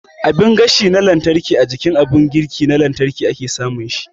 Abin gashi na lantarki a jikin abin girki na lantarki ake samun shi